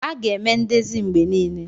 A ga-eme ndezi mgbe niile.